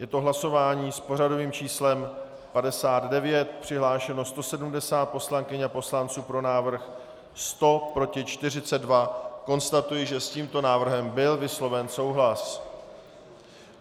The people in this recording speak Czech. Je to hlasování s pořadovým číslem 59, přihlášeno 170 poslankyň a poslanců, pro návrh 100, proti 42, konstatuji, že s tímto návrhem byl vysloven souhlas.